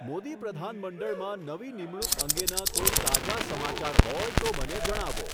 મોદી પ્રધાનમંડળમાં નવી નિમણૂક અંગેના કોઈ તાજા સમાચાર હોય તો મને જણાવો